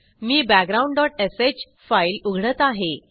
मी background dot sh file उघडत आहे